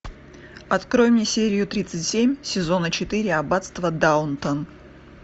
открой мне серию тридцать семь сезона четыре аббатство даунтон